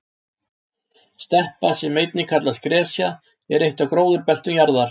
Steppa sem einnig kallast gresja er eitt af gróðurbeltum jarðar.